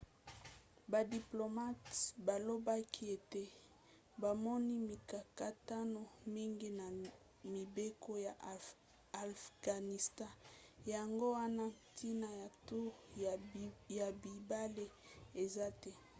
badiplomate balobaki ete bamoni mikakatano mingi na mibeko ya afghanistan yango wana ntina ya toure ya mibale eza te